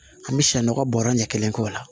An bɛ sɛ nɔgɔ bɔrɛ ɲɛ kelen k'o la